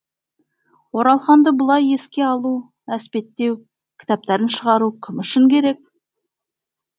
оралханды бұлай еске алу әспеттеу кітаптарын шығару кім үшін керек